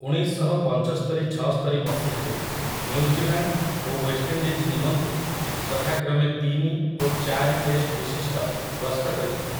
ଉଣେଇଶଶହ ପଞ୍ଚସ୍ତରି ଛଅସ୍ତରି ମସିହାରେ ନ୍ୟୁଜିଲାଣ୍ଡ ଓ ୱେଷ୍ଟଇଣ୍ଡିଜ୍ ନିମନ୍ତେ ଯଥାକ୍ରମେ ତିନି ଓ ଚାରି ଟେଷ୍ଟବିଶିଷ୍ଟ ଗସ୍ତ କରିଥିଲେ ।